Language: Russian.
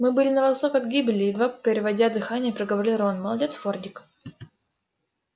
мы были на волосок от гибели едва переводя дыхание проговорил рон молодец фордик